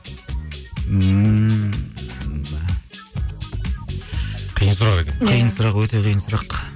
ммм қиын сұрақ екен иә қиын сұрақ өте қиын сұрақ